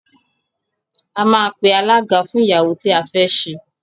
A máa pe alága fún ìyàwó tí a fé ṣe.